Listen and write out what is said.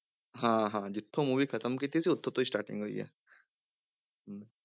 ਹਾਂ ਹਾਂ ਜਿੱਥੋਂ movie ਖਤਮ ਕੀਤੀ ਸੀ ਉੱਥੋਂ ਤੋਂ ਹੀ starting ਹੋਈ ਹੈ ਹਮ